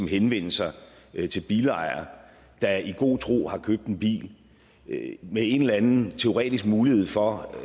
henvende sig til bilejere der i god tro har købt en bil med en eller anden teoretisk mulighed for